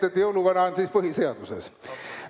Nii et jõuluvana on siis põhiseaduses.